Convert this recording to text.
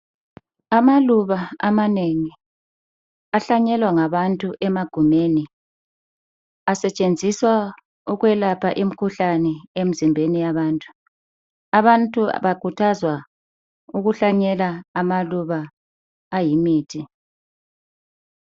Amaluba amanengi ahlanyelwa ngabantu emagumeni asetshenziswa ukwelapha imikhuhlane emzimbeni yabantu. Abantu bakhuthazwa ukuhlanyela amaluba ayimithi.